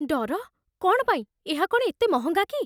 ଡର? କ'ଣ ପାଇଁ? ଏହା କ'ଣ ଏତେ ମହଙ୍ଗା କି?